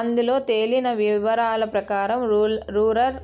అందులో తేలిన వివరాల ప్రకారం రూరల్